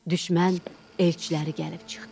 Düşmən elçiləri gəlib çıxdı.